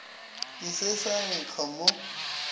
ke se sa nkga mo